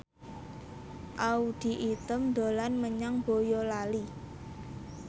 Audy Item dolan menyang Boyolali